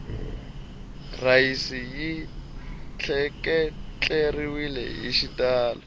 rhayisi yi tleketleriwele hi xitalo